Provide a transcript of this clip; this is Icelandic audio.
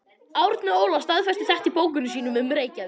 Árni Óla staðfestir þetta í bókum sínum um Reykjavík.